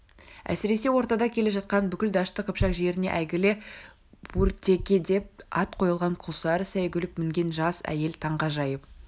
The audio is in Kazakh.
әсіресе ортада келе жатқан бүкіл дәшті қыпшақ жеріне әйгілі ортекедеп ат қойылған күлсары сәйгүлік мінген жас әйел таңғажайып